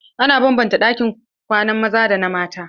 Ana banbanta ɗakunan kwanan maza da na mata.